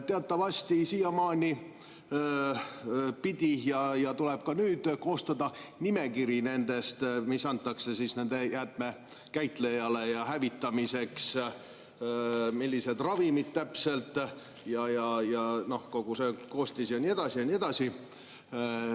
Teatavasti siiamaani tuli ja tuleb ka nüüd koostada nimekiri nendest, mis antakse nende jäätmete käitlejale hävitamiseks, millised need ravimid täpselt on, nende koostis ja nii edasi ja nii edasi.